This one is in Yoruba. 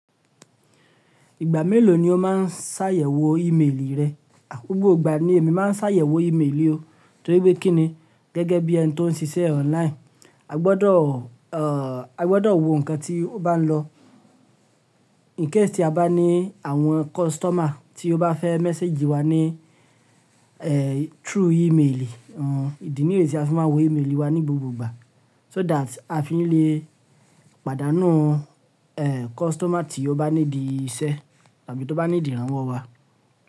Ìgbà mélòó ni o máa ń ṣàyẹ̀wò íméelì rẹ? Gbogbo ìgbà ni èmi máa ń ṣàyẹ̀wò ímeélì o, torí pé kíni, gẹ́gẹ́ bí ẹni tó ń ṣiṣẹ́ online, a gbọdọ̀, a gbọdọ̀ wo nǹkan tí ó bá ń lọ. In case tí a bá ní àwọn customer tí ó bá fẹ́ message wa ní, through email, idí nìyí tí a fi má ń wo email wá ní gbogbo ìgbà. So that a fi ni lè pàdánù, customer tí ó bá need iṣẹ́ tàbí tó bá need ìrànwọ́ wa.